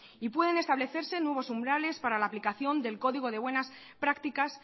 y pueden establecerse nuevos umbrales para la aplicación del código de buenas prácticas